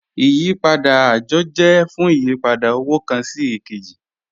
Ìyìpadà ajọ jẹ̀ fún ìyìpadà owo kan sí èkèjì